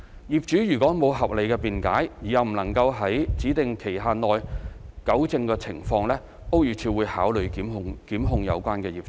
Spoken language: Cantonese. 業主如無合理辯解而又未能在指定期限內糾正情況，屋宇署會考慮檢控有關業主。